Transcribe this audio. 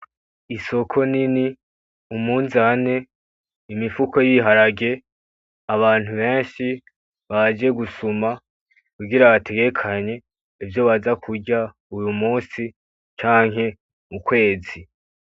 Isoko nini , umunzante, Imifuko y’ibiharage abantu benshi baje gusuma kugira bategekanye ivyo baza kurya uyu musi canke mu kwezi.